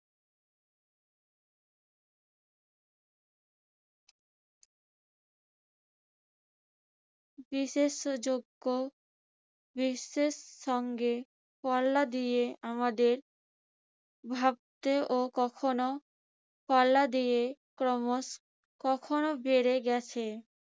বিশেষযোগ্য বিশ্বের সঙ্গে পাল্লা দিয়ে আমাদের ভাবতেও কখনো পাল্লা দিয়ে ক্রমশ কখনো বেড়ে গেছে,